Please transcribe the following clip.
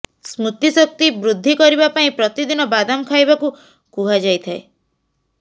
ସ୍ମୃତି ଶକ୍ତି ବୃଦ୍ଧି କରିବା ପାଇଁ ପ୍ରତିଦିନ ବାଦାମ ଖାଇବାକୁ କୁହାଯାଇଥାଏ